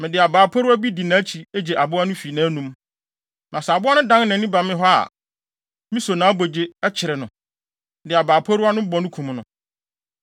mede abaa poriwa di nʼakyi gye aboa no fi nʼanom. Na sɛ aboa no dan nʼani ba me hɔ a, miso nʼabogye, kyere no, de abaa poriwa no bɔ no, kum no.